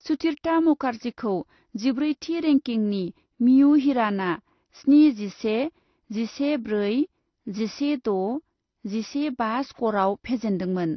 सुतिर्था मुखार्जीखौ जिब्रैथि रैंकिंनि मियु हिरान'आ स्नि जिसे, जिसे ब्रै, जिसे द', जिसे बा स्करआव फेजेन्दोंमोन।